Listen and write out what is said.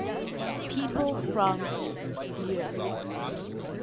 people from eure